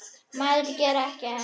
Maður gerir ekki annað!